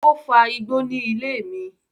O fa igbó ní ilé mi